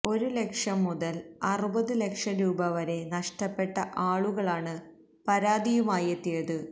ഒരു ലക്ഷം മുതല് അറുപത് ലക്ഷം രൂപവരെ നഷ്ടപ്പെട്ട ആളുകളാണ് പരാതിയുമായെത്തിയത്